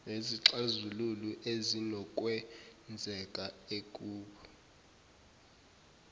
nezixazululo ezinokwenzeka ekub